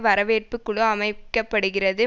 வரவேற்புக்குழு அமைக்க படுகிறது